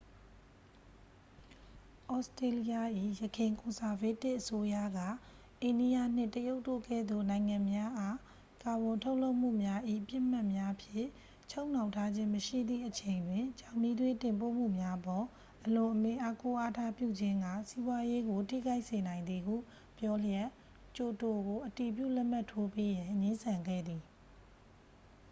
ဩစတေးလျ၏ ယခင်ကွန်ဆာဗေးတစ်အစိုးရက အိန္ဒိယနှင့် တရုတ်တို့ကဲ့သို့ နိုင်ငံများအား ကာဗွန်ထုတ်လွှတ်မှုများ၏ ပစ်မှတ်များဖြင့် ချုပ်နှောင်ထားခြင်းမရှိသည့်အချိန်တွင် ကျောက်မီးသွေးတင်ပို့မှုများအပေါ် အလွန်အမင်းအားကိုးအားထားပြုခြင်းက စီးပွားရေးကို ထိခိုက်စေနိုင်သည်ဟု ပြောလျက်ကျိုတိုကို အတည်ပြုလက်မှတ်ထိုးပေးရန် ငြင်းဆန်ခဲ့သည်